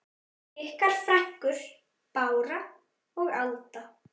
Ykkar frænkur Bára og Alda.